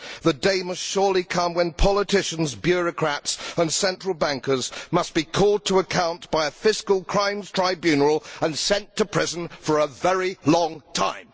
The day must surely come when politicians, bureaucrats and central bankers must be called to account by a fiscal crimes tribunal and sent to prison for a very long time.